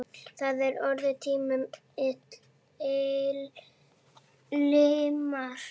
Það er orðin til limra!